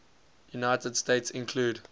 united states include